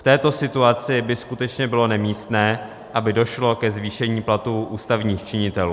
V této situaci by skutečně bylo nemístné, aby došlo ke zvýšení platů ústavních činitelů.